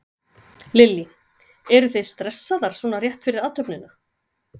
Lillý: Eruð þið stressaðar svona rétt fyrir athöfnina?